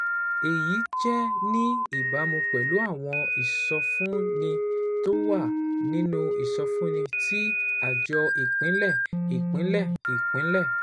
Èyí jẹ́ ní ìbámu pẹ̀lú àwọn ìsọfúnni tó wà nínú ìsọfúnni tí Àjọ Ìpínlẹ̀ Ìpínlẹ̀ Ìpínlẹ̀